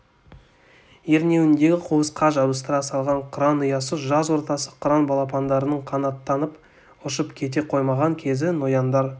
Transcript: ернеуіндегі қуысқа жабыстыра салған қыран ұясы жаз ортасы қыран балапандарының қанаттанып ұшып кете қоймаған кезі нояндар